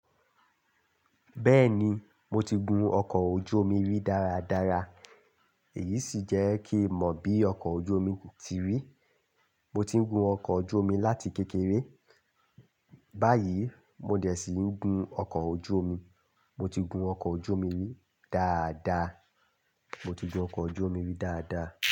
Bẹ́ẹ̀ni, mo ti gun ọkọ̀ ojú omi rí dáradára, èyí sì jẹ́ kí n mọ bí ọkọ̀ ojú omi ti rí. Mo ti ń gun ọkọ̀ ojú omi láti kékeré. Báyìí, mo dẹ̀ ṣíi ń gun ọkọ̀ ojú omi. Mọ ti gun ọkọ̀ ojú omi rí dáadaa. Mo ti gun ọkọ̀ ojú omi rí dáadaa.